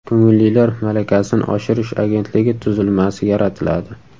Ko‘ngillilar malakasini oshirish agentligi tuzilmasi yaratiladi.